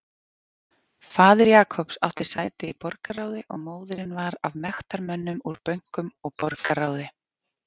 Faðir Jacobs átti sæti í borgarráði og móðirin var af mektarmönnum úr bönkum og borgarráði.